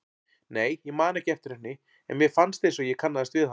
Nei, ég man ekki eftir henni en mér fannst einsog ég kannaðist við hana.